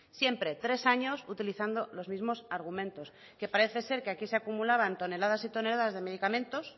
siempre tres años utilizando los mismos argumentos que parece ser que aquí se acumulaban toneladas y toneladas de medicamentos